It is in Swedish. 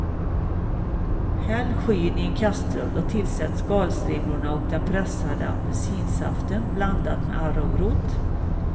Häll skyn i en kastrull och tillsätt skalstrimlorna och den pressade apelsinsaften blandad med arrowrot.